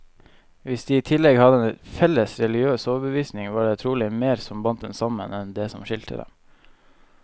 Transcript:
Hvis de i tillegg hadde en felles religiøs overbevisning, var det trolig mer som bandt dem sammen, enn det som skilte dem.